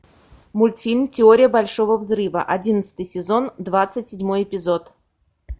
мультфильм теория большого взрыва одиннадцатый сезон двадцать седьмой эпизод